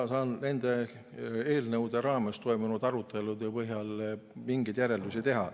Ma saan nende eelnõude raames toimunud arutelude põhjal mingeid järeldusi teha.